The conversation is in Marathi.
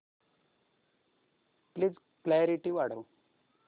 प्लीज क्ल्यारीटी वाढव